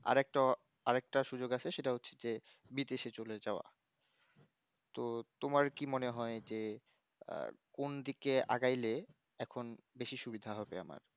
আর একটা আর একটা সুযোগ আছে যে সেটা হচ্ছে যে বিদেশে চলে যাওয়া তো তোমার কি মনে হয় যে আহ কোন দিকে আগাইলে এখন বেশি সুবিধা হবে আমার